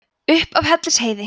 upp af hellisheiði